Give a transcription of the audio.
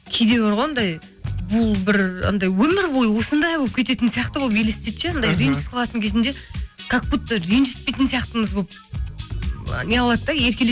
кейде бар ғой анандай бұл бір анандай өмір бойы осындай болып кететін сияқты болып елестейді ше анандай ренжісіп қалатын кезінде как будто ренжсітпейтін сияқтымыз болып неғылады да